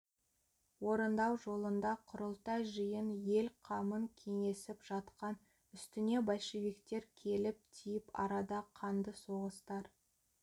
орындау жолында құрылтай жиын ел қамын кеңесіп жатқан үстіне большевиктер келіп тиіп арада қанды соғыстар